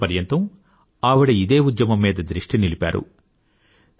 తన జీవిత పర్యంతం ఆవిడ ఇదే ఉద్యమం మీద దృష్టి నిలిపారు